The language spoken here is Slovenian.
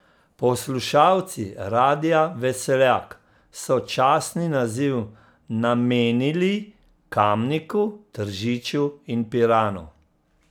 Poslušalci Radia Veseljak so častni naziv namenili Kamniku, Tržiču in Piranu.